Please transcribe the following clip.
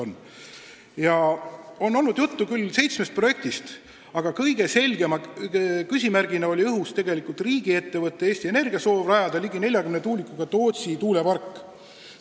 On küll olnud juttu seitsmest projektist, aga kõige selgema küsimärgi on tekitanud riigiettevõtte Eesti Energia soov rajada ligi 40 tuulikuga Tootsi tuulepark.